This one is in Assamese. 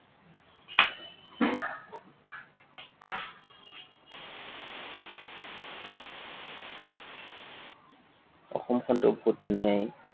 অসমখনটো বহুত ধুনীয়াই।